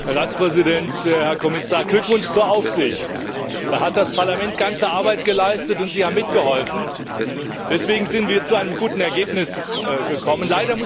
Frau Präsidentin, Herr Ratspräsident, Herr Kommissar! Glückwunsch zur Aufsicht! Da hat das Parlament ganze Arbeit geleistet und Sie haben mitgeholfen, deswegen sind wir zu einem guten Ergebnis gekommen.